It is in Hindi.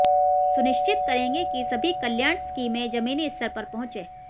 सुनिश्चित करेंगे कि सभी कल्याण स्कीमें जमीनी स्तर पर पहुंचें